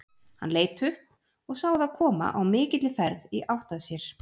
Hann leit upp og sá þá koma á mikilli ferð í átt að sér.